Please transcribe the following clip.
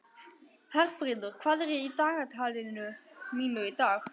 Herfríður, hvað er í dagatalinu mínu í dag?